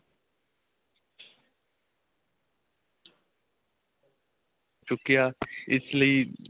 ਚੁਕਿਆ ਇਸ ਲਈ